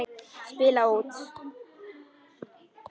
Spila út.